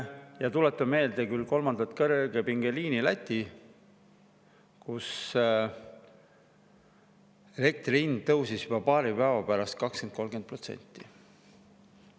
Tuletame meelde kolmandat kõrgepingeliini Lätti, elektri hind tõusis juba paari päeva pärast 20–30%.